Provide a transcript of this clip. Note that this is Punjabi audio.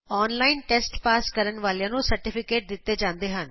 ਔਨਲਾਈਨ ਟੈਸਟ ਪਾਸ ਕਰਨ ਵਾਲਿਆਂ ਨੂੰ ਸਰਟੀਫਿਕੇਟ ਦਿਤਾ ਜਾਂਦਾ ਹੈ